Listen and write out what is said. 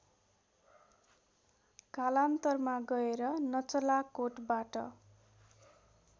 कालान्तरमा गएर नचलाकोटबाट